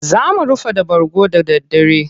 Za mu rufa da bargo da daddare.